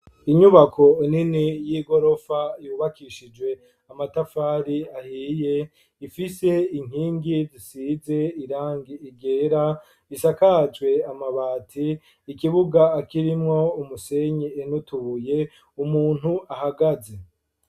Inyubako nini y'igorofa yubakishijwe amatafari ahiye, ifise inkingi zisize irangi ryera isakajwe amabati ,ikibuga akirimwo umusenyi nutubuye ,umuntu ahagaze.